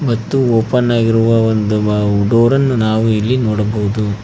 ಮತ್ತು ಓಪನ್ ಆಗಿರುವ ಒಂದು ಡೋರ್ ಅನ್ನು ನಾವು ಇಲ್ಲಿ ನೋಡಬಹುದು.